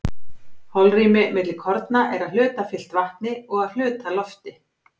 holrými milli korna er að hluta fyllt vatni og að hluta lofti